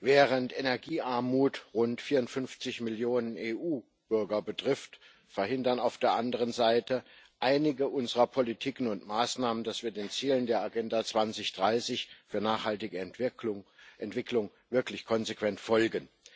Während Energiearmut rund 54 Millionen EU Bürger betrifft, verhindern auf der anderen Seite einige unserer Politiken und Maßnahmen, dass wir den Zielen der Agenda 2030 für nachhaltige Entwicklung wirklich konsequent folgen.